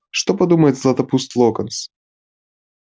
что подумает златопуст локонс